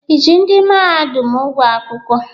I ji ndị mahadum ụgwọ akwụkwọ?